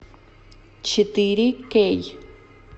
четыре кей